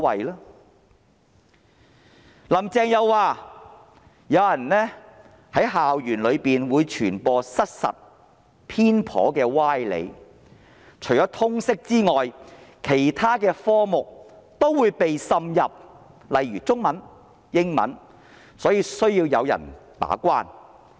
"林鄭"在專訪中又說有人在校園內傳播失實、偏頗的歪理，除了通識科目外，這些歪理也會滲入其他科目，例如中文、英文等，所以需要有人把關。